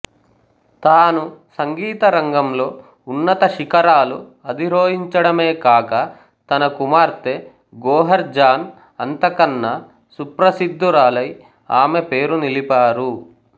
తాను సంగీతరంగంలో ఉన్నత శిఖరాలు అధిరోహించడమే కాక తన కుమార్తె గోహర్ జాన్ అంతకన్నా సుప్రసిద్ధురాలై ఆమె పేరు నిలిపారు